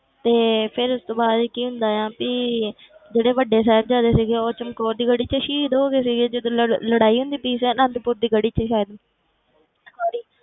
ਤੇ ਫਿਰ ਉਸ ਤੋਂ ਬਾਅਦ ਕੀ ਹੁੰਦਾ ਆ ਵੀ ਜਿਹੜੇ ਵੱਡੇ ਸਾਹਿਬਜ਼ਾਦੇ ਸੀਗੇ ਉਹ ਚਮਕੌਰ ਦੀ ਗੜੀ 'ਚ ਸ਼ਹੀਦ ਹੋ ਗਏ ਸੀਗੇ ਜਦੋਂ ਲੜ~ ਲੜਾਈ ਹੁੰਦੀ ਪਈ ਸੀ ਅਨੰਦਪੁਰ ਦੀ ਗੜੀ 'ਚ ਸ਼ਾਇਦ